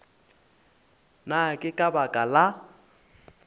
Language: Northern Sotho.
na ke ka baka la